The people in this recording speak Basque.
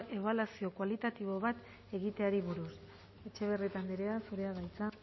ebaluazio kualitatibo bat egiteari buruz etxebarrieta andrea zurea da hitza